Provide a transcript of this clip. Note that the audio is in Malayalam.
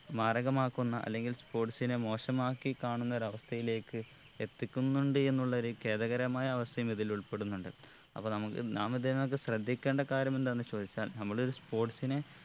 മാരകമാക്കുന്ന അല്ലെങ്കിൽ sports നെ മോശമാക്കി കാണുന്ന ഒര് അവസ്ഥയിലേക്ക് എത്തിക്കുന്നുണ്ട് എന്നുള്ളൊരു ഖേദകരമായ അവസ്ഥയും ഇതിൽ ഉൾപ്പെടുന്നുണ്ട് അപ്പൊ നമ്മു നാം ഇതിനകത്ത് ശ്രദ്ധിക്കേണ്ട കാര്യം എന്താന്ന് ചോയ്ച്ചാൽ നമ്മളൊരു sports നെ